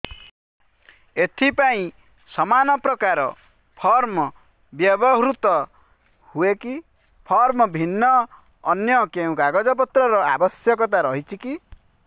ଏଥିପାଇଁ ସମାନପ୍ରକାର ଫର୍ମ ବ୍ୟବହୃତ ହୂଏକି ଫର୍ମ ଭିନ୍ନ ଅନ୍ୟ କେଉଁ କାଗଜପତ୍ରର ଆବଶ୍ୟକତା ରହିଛିକି